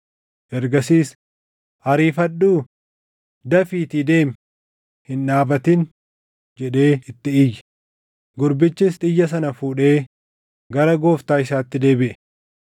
Ergasiis, “Ariifadhu! Dafiitii deemi! Hin dhaabatin!” jedhee itti iyye; gurbichis xiyya sana fuudhee gara gooftaa isaatti deebiʼe.